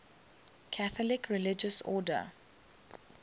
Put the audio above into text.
catholic religious order